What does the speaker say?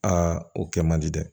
Aa o kɛ man di dɛ